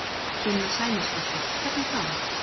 Sunna Sæmundsdóttir: Hvernig þá?